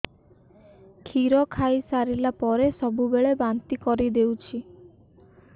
କ୍ଷୀର ଖାଇସାରିଲା ପରେ ସବୁବେଳେ ବାନ୍ତି କରିଦେଉଛି